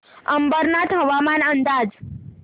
अंबरनाथ हवामान अंदाज